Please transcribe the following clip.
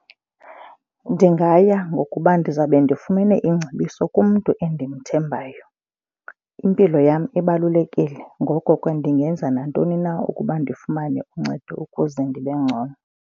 Ndingaya ngokuba ndizawube ndifumene iingcebiso kumntu endimthembayo. Impilo yam ibalulekile. Ngoko ke ndingenza nantoni na ukuba ndifumane uncedo ukuze ndibe ngcono.